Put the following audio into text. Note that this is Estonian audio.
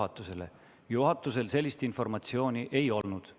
Täna juhatusel sellist informatsiooni ei olnud.